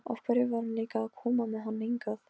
Af hverju var hún líka að koma með hann hingað?